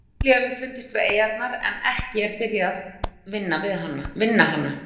Olía hefur fundist við eyjarnar en ekki er byrjað vinna hana.